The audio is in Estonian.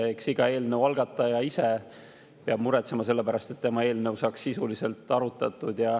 Eks iga eelnõu algataja peab ise muretsema selle pärast, et tema eelnõu saaks sisuliselt arutatud.